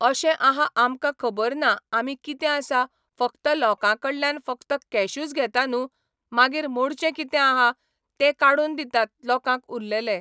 अशें आहा आमकां खबर ना आमी कितें आसा फकत लोकां कडल्यान फकत कॅशूच घेता न्हू मागीर मोडचें कितें आहा तें काडून दितात लोकांक उरलेले